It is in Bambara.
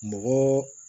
Mɔgɔ